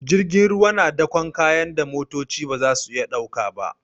Jirgin ruwa na dakon kayan da motoci ba za su iya dauka ba.